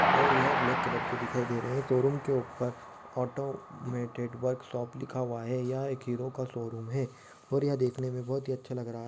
और यह black colour की दिखाई दे रही है शोरूम के ऊपर ऑटोमेटेड वर्क शॉप लिखा हुआ है यह एक हीरो का शोरूम है और यह देखने में बोहत ही अच्छा लग रहा--